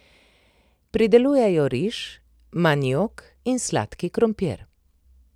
Pridelujejo riž, maniok in sladki krompir.